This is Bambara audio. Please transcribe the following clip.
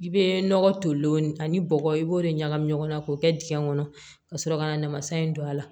I bɛ nɔgɔ tolen ani bɔgɔ i b'o de ɲagami ɲɔgɔn na k'o kɛ dingɛ kɔnɔ ka sɔrɔ ka na namasa in don a la